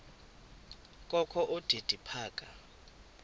kokho udidi phaka